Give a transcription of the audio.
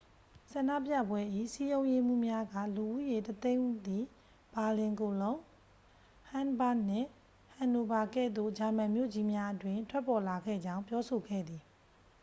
ဆန္ဒပြပွဲ၏ စည်းရုံးရေးမှူးများက လူဦးရေ 100,000 သည် ဘာလင် ကိုလုံး ဟမ်းဘာ့ဂ်နှင့် ဟန်နိုဗာကဲ့သို့ ဂျာမန်မြို့ကြီးများအတွင်း ထွက်ပေါ်လာခဲ့ကြောင်း ပြောဆိုခဲ့သည်